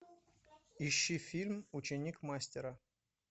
ищи фильм ученик мастера